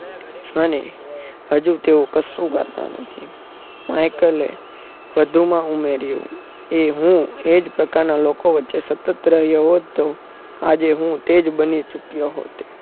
અને હજુ તેઓ કશું કરતા નથી માઈકલે વધુમાં ઉમેર્યું અને હું એજ પ્રકારના લોકો વચ્ચે સતત રહ્યો હોવાથી આજે હું તેજ બની ચુક્યો હોત